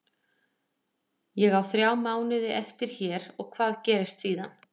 Ég á þrjá mánuði eftir hér og hvað gerist síðan?